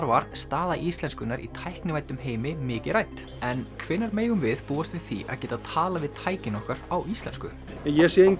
var staða íslenskunnar í tæknivæddum heimi mikið rædd en hvenær megum við búast við því að geta talað við tækin okkar á íslensku ég sé